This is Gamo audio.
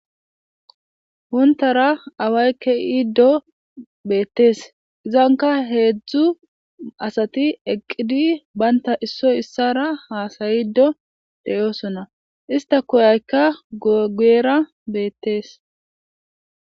Wontara away ke'iiddo beettees izanka heedzdzu asati eqqidi baynta issoy issara haasayido deyoosona ista koyaykka guyera beettees.